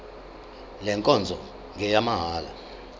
le nkonzo ngeyamahala